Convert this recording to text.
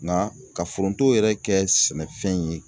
Nka ka foronto yɛrɛ kɛ sɛnɛfɛn ye